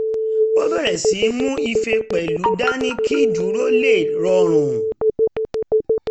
ó bẹ̀rẹ̀ sí í mú ife pẹ̀lú dání kí dúró lè rọrùn